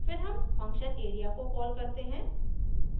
फिर हम function area को कॉल करते हैं